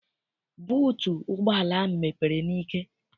Buutu ụgbọala ahụ mepere n'ike.